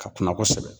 Ka kuma kosɛbɛ